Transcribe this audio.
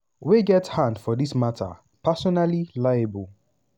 wey get hand for dis mata personally liable.